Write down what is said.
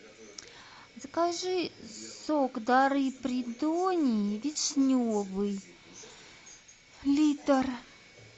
закажи сок дары придонья вишневый литр